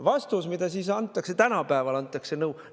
Vastus, mida antakse – tänapäeval antakse sellist nõu!